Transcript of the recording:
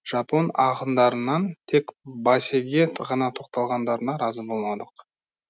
жапон ақындарынан тек басеге ғана тоқталғандарына разы болмадық